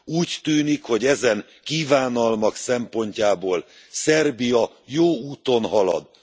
Úgy tűnik, hogy ezen kívánalmak szempontjából Szerbia jó úton halad.